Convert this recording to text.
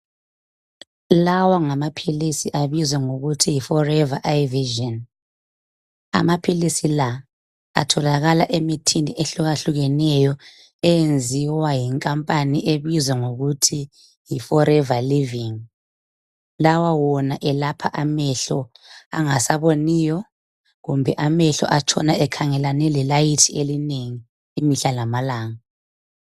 Lawa ngamaphilisi abizwa ngokuthi forever eye vision amaphilisi la atholakala emithini ehlukahlukeneyo enziwa yinkampani ebizwa ngokuthi yi forever living lawa wona elapha amehlo angasaboniyo kumbe amehlo ahlala ekhangelane le light elinengi imihla lamalanga .